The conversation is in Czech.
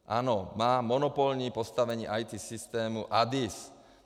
Ano, má monopolní postavení IT systému ADIS.